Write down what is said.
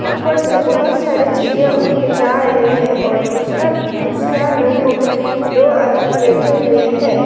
ऊपर से बहुत सारे चिरिया उर के जा रहे है और दूसरा दूसरा नौको में दो आदमी बैठे हुए है।